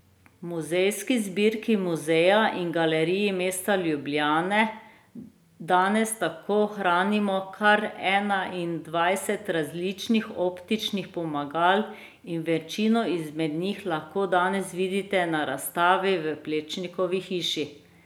V muzejski zbirki Muzeja in galerij mesta Ljubljane danes tako hranimo kar enaindvajset različnih optičnih pomagal in večino izmed njih lahko danes vidite na razstavi v Plečnikovi hiši.